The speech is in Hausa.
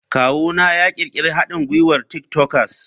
Kawuna ya ƙirƙiri haɗin gwiwar tik tokers.